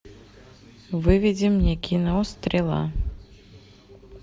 выведи мне кино стрела